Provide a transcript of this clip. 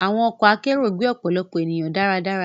Àwọn ọkọ akero gbé ọpọlọpọ ènìyàn dáradára